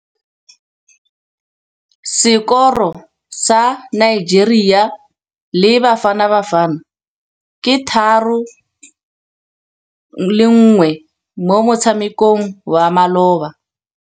Sekôrô sa Nigeria le Bafanabafana ke 3-1 mo motshamekong wa malôba.